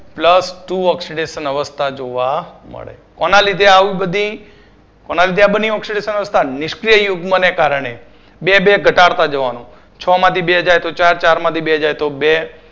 plus two oxidation અવસ્થા જોવા મળે. કોના લીધે આવું બની કોના લીધે આ બની oxidation અવસ્થા નિષ્ક્રિય યુગ્મને કારણે બે બે ઘટાડતા જવાનું. છ માંથી બે જાય તો ચાર, ચારમાંથી બે જાય તો બે